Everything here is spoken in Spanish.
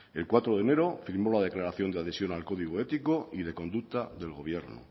el cuatro de enero firmó la declaración de adhesión el código ético y de conducta del gobierno